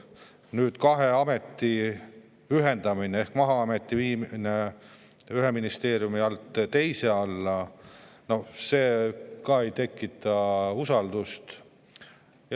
Nüüd Maa-ameti ja viimine ühe ministeeriumi alt teise alla – no see ka ei tekita usaldust.